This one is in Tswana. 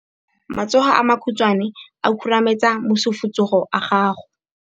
Matsogo a makhutshwane a khurumetsa masufutsogo a gago.